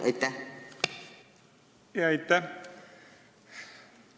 Aitäh!